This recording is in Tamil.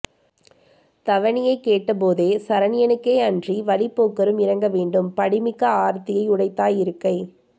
த்வணியைக் கேட்ட போதே சரண்யனுக்கே அன்றி வழிப் போக்கரும் இரங்க வேண்டும் படி மிக்க ஆர்த்தியை யுடைத்தாய் இருக்கை